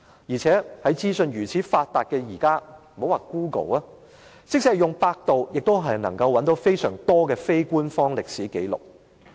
現時資訊發達，用 Google 或百度便可以找到相當多的非官方歷史紀錄。